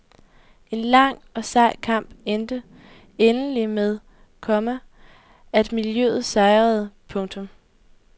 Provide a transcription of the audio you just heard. En lang og sej kamp endte endelig med, komma at miljøet sejrede. punktum